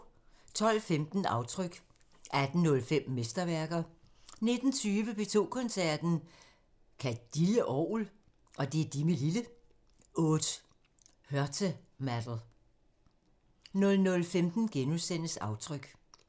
12:15: Aftryk 18:05: Mesterværker 19:20: P2 Koncerten – Ka' de li' orgel? – Aude Heurtematte 00:15: Aftryk *